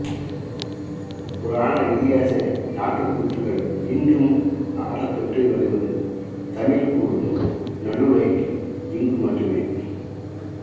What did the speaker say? புராண இதிகாச நாட்டுக்கூத்துக்கள் இன்றும் ஆடப்பட்டு வருவது தமிழ் கூறும் நல்லுழகில் இங்கு மட்டுமே